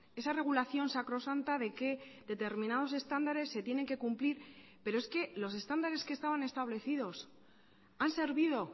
esa regulación sacrosanta de que determinados estándares se tienen que cumplir pero es que los estándares que estaban establecidos han servido